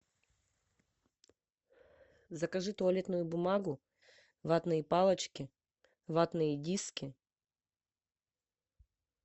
закажи туалетную бумагу ватные палочки ватные диски